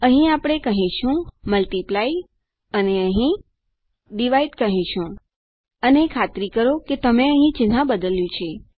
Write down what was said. અહીં આપણે કહીશું મલ્ટિપ્લાય અને અહીં કહીશું ડિવાઇડ અને ખાતરી કરો કે તમે અહીં ચિહ્ન બદલ્યું છે